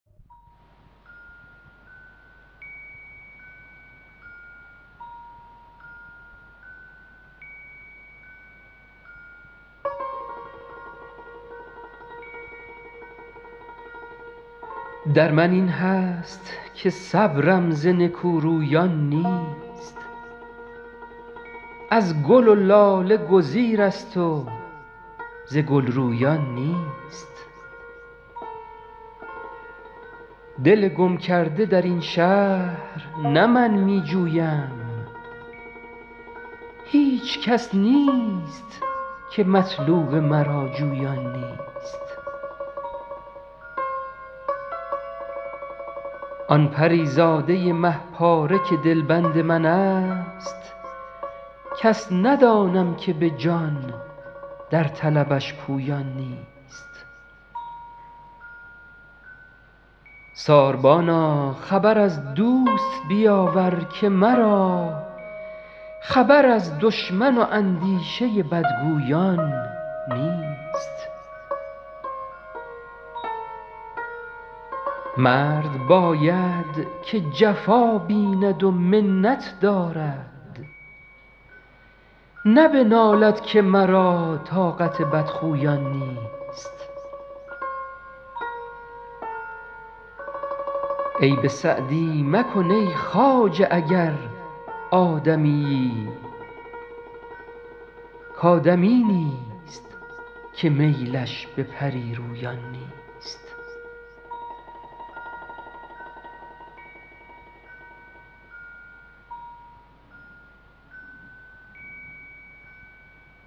در من این هست که صبرم ز نکورویان نیست از گل و لاله گزیرست و ز گل رویان نیست دل گم کرده در این شهر نه من می جویم هیچ کس نیست که مطلوب مرا جویان نیست آن پری زاده مه پاره که دلبند من ست کس ندانم که به جان در طلبش پویان نیست ساربانا خبر از دوست بیاور که مرا خبر از دشمن و اندیشه بدگویان نیست مرد باید که جفا بیند و منت دارد نه بنالد که مرا طاقت بدخویان نیست عیب سعدی مکن ای خواجه اگر آدمیی کآدمی نیست که میلش به پری رویان نیست